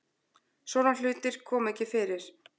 Svona hlutir koma ekki fyrir